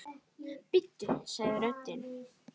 Bíddu sagði röddin.